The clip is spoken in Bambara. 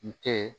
N tɛ